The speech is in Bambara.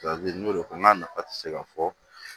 n y'o de fɔ n k'a nafa tɛ se ka fɔ